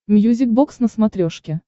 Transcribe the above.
мьюзик бокс на смотрешке